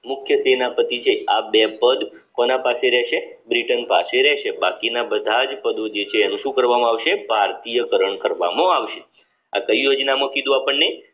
મુખ્ય તેના પતિ છે આ બે પદ કોના પાસે રહેશે બ્રિટન પાસે રહેશે બાકીના બધા જ પદો જે છે એનું શું કરવામાં આવશે ભારતીય ચલણ કરવામાં આવશે આ કઈ યોજનામાં કીધું આપણને